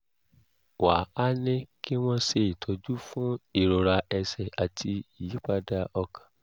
wá a ní kí wọ́n ṣe ìtọ́jú fún ìrora ẹ̀sẹ̀ àti ìyípadà ọkàn